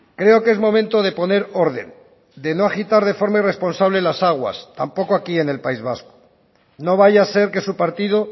creo que es momento de poner orden de no agitar de forma irresponsable las aguas tampoco aquí en el país vasco no vaya a ser que su partido